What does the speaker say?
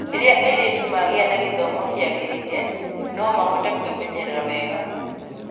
Rĩrĩa airĩtu magĩa na gĩthomo kĩagĩrĩire, no mahote kwĩmenyerera wega.